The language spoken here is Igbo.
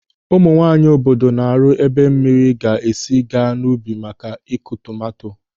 Ụmụ nwaanyị obodo na-arụ ebe mmiri ga-esi a ga n'ubi maka Ị́kụ̀ tomanto.